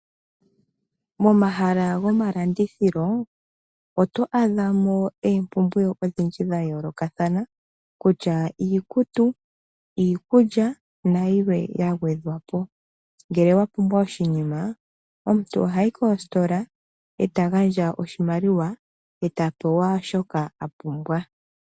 Momahala gomalandithilo oto adha mo oompumbwe odhindji dha yoolokathana kutya iikutu iikulya na yilwe yagwedhwa po. Ngele wapumbwa oshinima omuntu ohayi kositola e ta gandja oshimaliwa eta pewa shoka apumbwa.